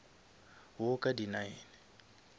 wo ka di nine